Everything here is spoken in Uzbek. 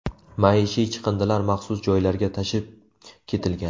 Maishiy chiqindilar maxsus joylarga tashib ketilgan.